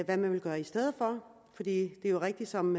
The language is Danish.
man kan gøre i stedet for det er jo rigtigt som